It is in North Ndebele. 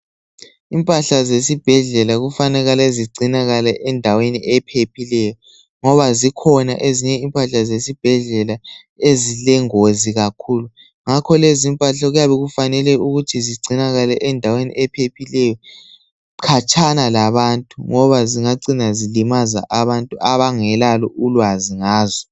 impahla zesibhedlela kufanele zigcinakale endaweni ephephileyo ngoba zikhona ezinye impahla zesibhedlela ezilengozi kakhulu ngakho lezi impahla okuyabe kufanele ukuthi zigcinakale endaweni ephephileyo khatshana labantu ngoba zingacina zilimaza abantu abangelalo ulwazi ngazo